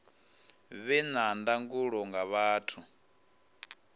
vhe na ndangulo nga vhathu